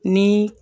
Ni